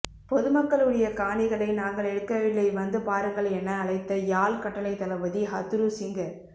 பொதுமக்குளுடைய காணிகளை நாங்கள் எடுக்கவில்லை வந்து பாருங்கள் என அழைத்த யாழ் கட்டளைத்தளபதி ஹத்துறுசிங்க